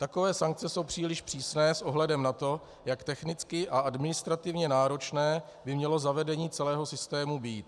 Takové sankce jsou příliš přísné s ohledem na to, jak technicky a administrativně náročné by mělo zavedení celého systému být.